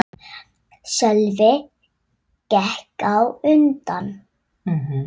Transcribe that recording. Sölvi gekk á undan.